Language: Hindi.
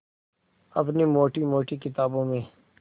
अपनी मोटी मोटी किताबों में